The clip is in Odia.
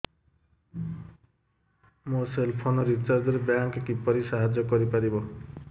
ମୋ ସେଲ୍ ଫୋନ୍ ରିଚାର୍ଜ ରେ ବ୍ୟାଙ୍କ୍ କିପରି ସାହାଯ୍ୟ କରିପାରିବ